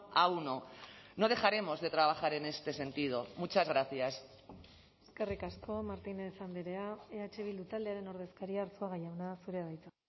a uno no dejaremos de trabajar en este sentido muchas gracias eskerrik asko martínez andrea eh bildu taldearen ordezkaria arzuaga jauna zurea da hitza